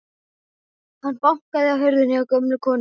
Hann bankaði á hurðina hjá gömlu konunni.